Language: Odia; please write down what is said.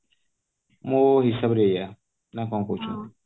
ମୋ ହିସାବରେ ଏଇୟା ନା କଣ କହୁଛନ୍ତି